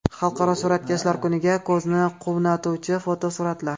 Xalqaro suratkashlar kuniga: Ko‘zni quvnatuvchi fotosuratlar.